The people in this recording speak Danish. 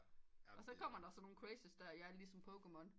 Og så kommer der sådan nogen crazy ja ligesom pokemon